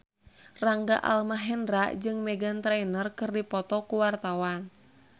Rangga Almahendra jeung Meghan Trainor keur dipoto ku wartawan